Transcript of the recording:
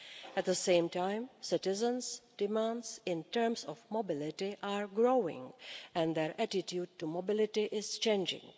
At the same time, citizens' demands in terms of mobility are growing and their attitude to mobility is changing.